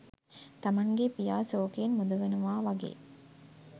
තමන්ගේ පියා සෝකයෙන් මුදවනවා වගේ්